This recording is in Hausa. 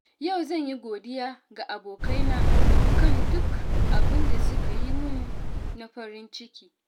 Yau zan yi godiya ga abokaina kan duk abin da suka yi mun na farin ciki.